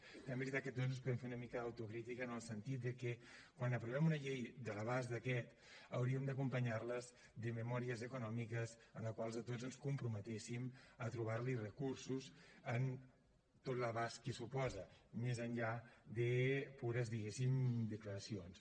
però també és veritat que tots ens podem fer una mica d’autocrítica en el sentit de que quan aprovem una llei de l’abast d’aquesta hauríem d’acompanyar les de memòries econòmiques en les quals tots ens comprometéssim a trobar los recursos en tot l’abast que suposa més enllà de pures diguéssim declaracions